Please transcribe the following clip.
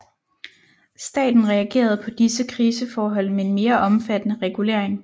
Staten reagerede på disse kriseforhold med en mere omfattende regulering